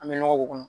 An bɛ nɔgɔ k'u kɔnɔ